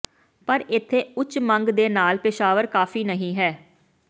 ਪਰ ਇੱਥੇ ਉੱਚ ਮੰਗ ਦੇ ਨਾਲ ਪੇਸ਼ਾਵਰ ਕਾਫ਼ੀ ਨਹੀ ਹੈ